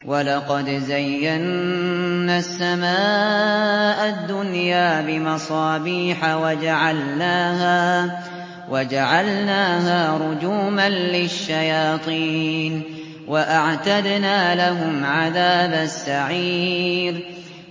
وَلَقَدْ زَيَّنَّا السَّمَاءَ الدُّنْيَا بِمَصَابِيحَ وَجَعَلْنَاهَا رُجُومًا لِّلشَّيَاطِينِ ۖ وَأَعْتَدْنَا لَهُمْ عَذَابَ السَّعِيرِ